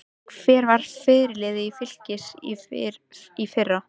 Hver var fyrirliði Fylkis í fyrra?